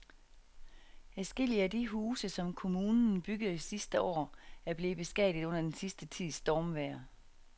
Adskillige af de huse, som kommunen byggede sidste år, er blevet beskadiget under den sidste tids stormvejr.